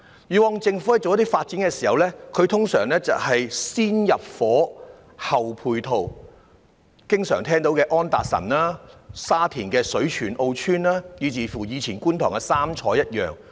以往政府進行發展時，通常會"先入伙，後配套"，例如經常聽到的安達臣道、沙田的水泉澳邨，以及過去觀塘的"三彩"。